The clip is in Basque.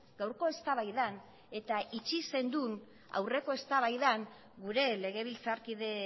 gaurko eztabaidan eta itxi zenuen aurreko eztabaidan gure legebiltzarkide